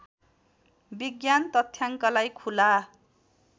विज्ञान तथ्याङ्कलाई खुला